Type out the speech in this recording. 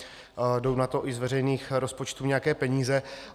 Jdou na to i z veřejných rozpočtů nějaké peníze.